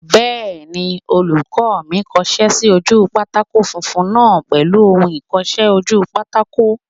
Bẹ́ẹ̀ni, olùkọ́ mi kọsẹ́ sí ojú pátákó funfun náà pèlú ohun ìkọsẹ́-ojúpátákó